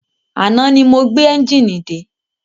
Àná ni mo gbé ẹ́njìnì dé.